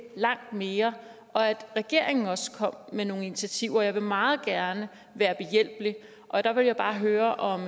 langt mere og at regeringen også kom med nogle initiativer jeg vil meget gerne være behjælpelig og der vil jeg bare høre om